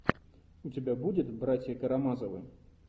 у тебя будет братья карамазовы